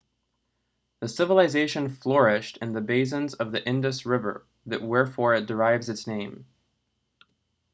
the civilisation flourished in the basins of the indus river wherefore it derives its name